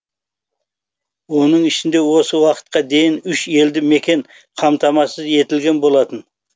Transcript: оның ішінде осы уақытқа дейін үш елді мекен қамтамасыз етілген болатын